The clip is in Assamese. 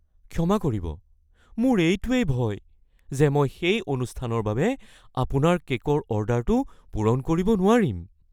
ক্ষমা কৰিব, মোৰ এইটোৱেই ভয় যে মই সেই অনুষ্ঠানৰ বাবে আপোনাৰ কে’কৰ অৰ্ডাৰটো পূৰণ কৰিব নোৱাৰিম।